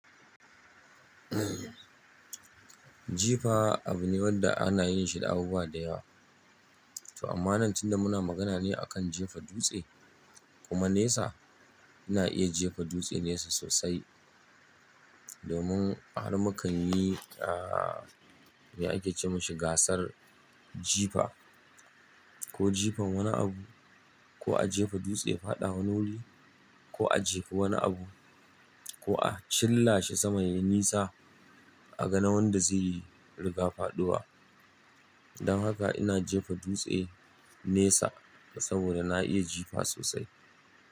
Jifa abu ne wanda ana yin shi da abubuwa da yawa. To amma nan tunda muna magana ne akan jefa dutse kuma nesa, ina iya jefa dutse nesa sosai. Domin har muka yi, ah, me ake ce masa gasar jifa ko jifan wani abu ko a jefa dutse ya faɗa wani wuri ko a jefa wani abu ko a chillashi sama yayi nisa a ga na wanda zai yi rigar faɗowa. Don haka ina jefa dutse nesa saboda na iya jifa sosai.